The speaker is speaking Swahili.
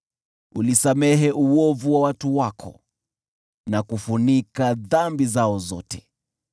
Ulisamehe uovu wa watu wako, na kufunika dhambi zao zote.